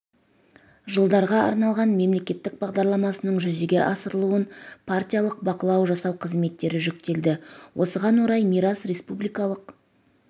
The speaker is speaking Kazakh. жылдарға арналған мемлекеттік бағдарламасының жүзеге асырылуын партиялық бақылау жасау қызметтері жүктелді осыған орай мирас республикалық